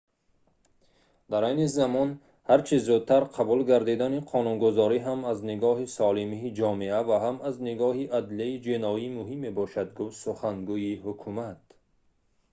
дар айни замон ҳар чӣ зудтар қабул гардидани қонунгузорӣ ҳам аз нигоҳи солимии ҷомеа ва ҳам аз нигоҳи адлияи ҷиноӣ муҳим мебошад» гуфт сухангӯи ҳукумат